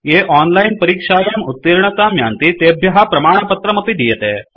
ये ओनलाइन् परीक्षायां उत्तीर्णतां यान्ति तेभ्य प्रमाणपत्रमपि दीयते